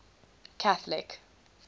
catholic